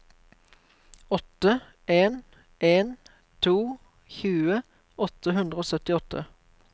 åtte en en to tjue åtte hundre og syttiåtte